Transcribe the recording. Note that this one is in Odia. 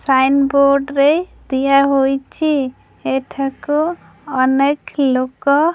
ସାଇନ୍ ବୋର୍ଡ଼ ରେ ଦିଆହୋଇଛି ଏଠାକୁ ଅନେକ ଲୋକ--